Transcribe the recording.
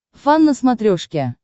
фан на смотрешке